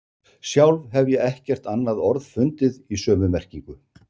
Sjálf hef ég ekkert annað orð fundið í sömu merkingu.